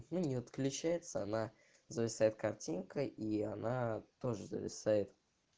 не отключается она зависает картинка и она тоже зависает